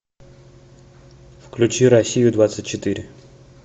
включи россию двадцать четыре